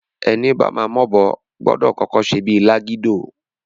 Ẹni bama m'obo, gbọdọ̀ kọ́kọ́ ṣe bíi lágídò.